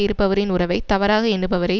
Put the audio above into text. இருப்பவரின் உறவை தவறாக எண்ணுபவரை